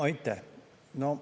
Aitäh!